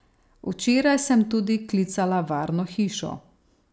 Včeraj sem tudi klicala varno hišo.